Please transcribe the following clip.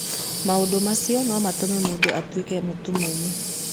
Maũndũ macio no matũme mũndũ atuĩke mũtumumu.